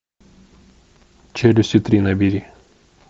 челюсти три набери